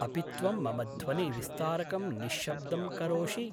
अपि त्वं मम ध्वनिविस्तारकं निश्शब्दं करोषि?